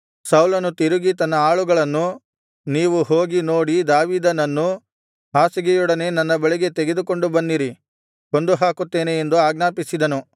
ಸೌಲನು ತಿರುಗಿ ತನ್ನ ಆಳುಗಳನ್ನು ನೀವು ಹೋಗಿ ನೋಡಿ ದಾವೀದನನ್ನು ಹಾಸಿಗೆಯೊಡನೆ ನನ್ನ ಬಳಿಗೆ ತೆಗೆದುಕೊಂಡು ಬನ್ನಿರಿ ಕೊಂದುಹಾಕುತ್ತೇನೆ ಎಂದು ಆಜ್ಞಾಪಿಸಿದನು